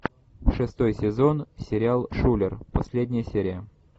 шестой сезон сериал шулер последняя серия